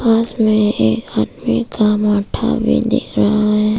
पास में एक आदमी का मुंडा भी दिख रहा है।